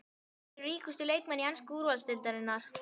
En hvaða leikmenn eru ríkustu leikmenn ensku úrvalsdeildarinnar?